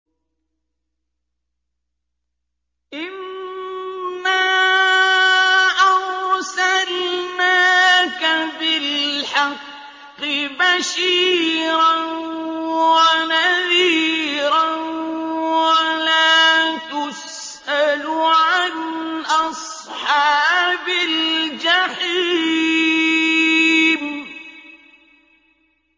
إِنَّا أَرْسَلْنَاكَ بِالْحَقِّ بَشِيرًا وَنَذِيرًا ۖ وَلَا تُسْأَلُ عَنْ أَصْحَابِ الْجَحِيمِ